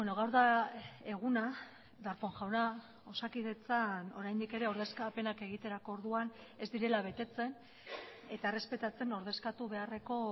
gaur da eguna darpón jauna osakidetzan oraindik ere ordezkapenak egiterako orduan ez direla betetzen eta errespetatzen ordezkatu beharreko